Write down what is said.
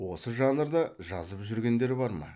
осы жанрда жазып жүргендер бар ма